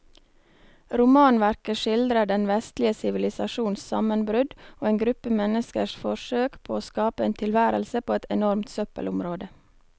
Romanverket skildrer den vestlige sivilisasjons sammenbrudd og en gruppe menneskers forsøk på å skape en tilværelse på et enormt søppelområde.